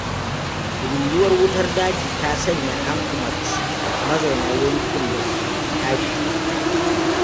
Ruruwar wutar daji ta sanya an umarci mazauna yankin da su tashi.